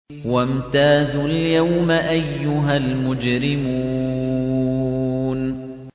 وَامْتَازُوا الْيَوْمَ أَيُّهَا الْمُجْرِمُونَ